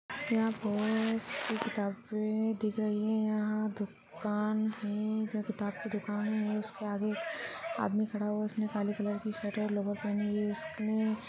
यहां बहुत सी किताबे दिख रही है यहां दुकान है जो किताब की दुकान है उसके आगे एक आदमी खड़ा हुआ है जिस ने काले कलर शर्ट और लोअर पहन उसने --